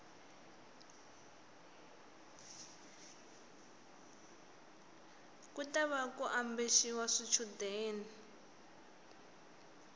ku tava ku ambexiwa swichundeni